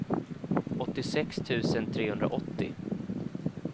åttiosex tusen trehundraåttio